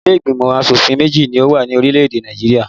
Ilé ìgbìmọ̀ asòfin méjì ni ó wà ní orílè-èdè Nàìjirià